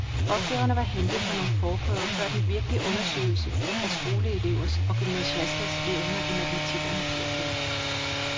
Opgaverne var hentet fra nogle forprøver før den virkelige undersøgelse af skoleelevers og gymnasiasters evner i matematik og naturfag.